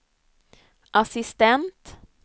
assistent